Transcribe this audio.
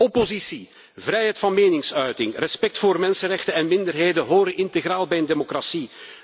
Oppositie, vrijheid van meningsuiting, respect voor mensenrechten en minderheden horen integraal bij een democratie.